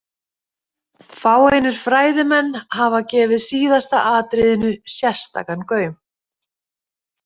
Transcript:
Fáeinir fræðimenn hafa gefið síðasta atriðinu sérstakan gaum.